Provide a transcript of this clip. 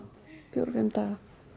til fimm daga